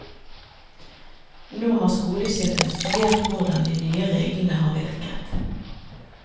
Nå har skolesjefen studert hvordan de nye reglene har virket.